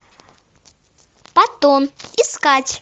паттон искать